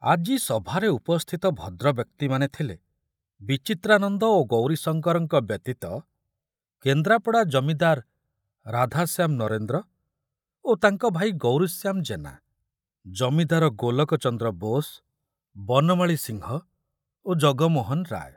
ଆଜି ସଭାରେ ଉପସ୍ଥିତ ଭଦ୍ରବ୍ୟକ୍ତିମାନେ ଥିଲେ ବିଚିତ୍ରାନନ୍ଦ ଓ ଗୌରୀଶଙ୍କରଙ୍କ ବ୍ୟତୀତ କେନ୍ଦ୍ରାପଡ଼ା ଜମିଦାର ରାଧାଶ୍ୟାମ ନରେନ୍ଦ୍ର ଓ ତାଙ୍କ ଭାଇ ଗୌରୀଶ୍ୟାମ ଜେନା, ଜମିଦାର ଗୋଲକ ଚନ୍ଦ୍ର ବୋଷ, ବନମାଳୀ ସିଂହ ଓ ଜଗମୋହନ ରାୟ।